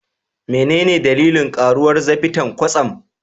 Menene dalilin karuwar zafinta kwatsam?